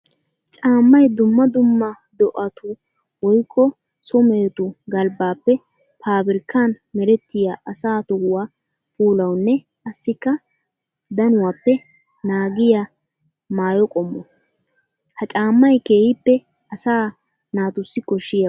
Caamay dumma dumma do'attu woykko so mehettu galbbappe paabirkkan merettiya asaa tohuwa puulawunne qassikka danuwappe naagiya maayo qommo. Ha caamay keehippe asaa naatussi koshiyaaba.